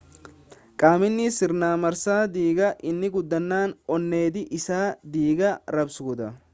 qaamni sirna marsaa dhiigaa inni guddaan onneedha isa dhiiga raabsuudha